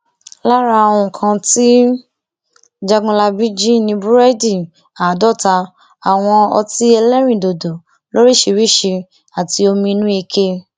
lára nǹkan tí jágunlábí jì ni búrẹdì àádọta àwọn ọtí ẹlẹrìndòdò lóríṣìíríṣìí àti omi inú ike